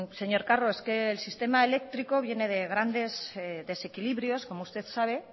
señor carro es que el sistema eléctrico viene de grandes desequilibrios como usted sabe